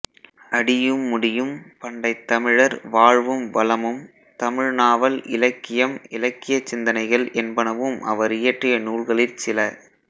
அடியும் முடியும் பண்டைத் தமிழர் வாழ்வும் வளமும் தமிழ் நாவல் இலக்கியம் இலக்கியச் சிந்தனைகள் என்பனவும் அவரியற்றிய நூல்களிற் சில